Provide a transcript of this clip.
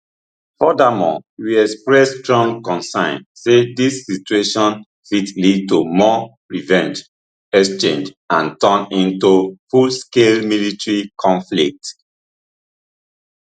furthermore we express strong concern say dis situation fit lead to more revenge exchange and turn into fullscale military conflict